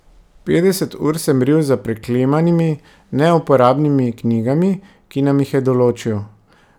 Petdeset ur sem ril za preklemanimi, neuporabnimi knjigami, ki nam jih je določil.